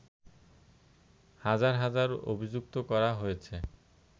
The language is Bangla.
হাজার হাজার অভিযুক্ত করা হয়েছে